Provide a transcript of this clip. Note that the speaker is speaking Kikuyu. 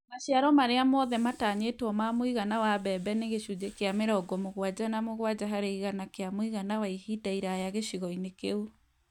Maciaro marĩa mothe matanyĩtwo ma mũigana wa mbembe nĩ gĩcunjĩ kĩa mĩrongo mũgwanja na mũgwanja harĩ igana kĩa mũigana wa ihinda iraya gĩcigo-inĩ kĩu